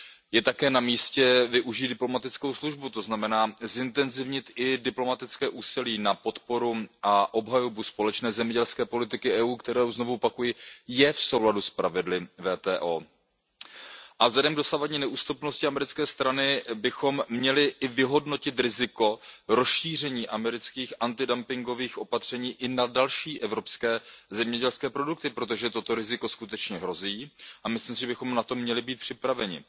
Je také namístě využít diplomatickou službu, to znamená zintenzivnit i diplomatické úsilí na podporu a obhajobu společné zemědělské politiky Evropské unie, která, znovu opakuji, je v souladu s pravidly WTO. Vzhledem k dosavadní neústupnosti americké strany bychom měli i vyhodnotit riziko rozšíření amerických antidumpingových opatření i na další evropské zemědělské produkty, protože toto riziko skutečně hrozí, a myslím si, že bychom na to měli být připraveni.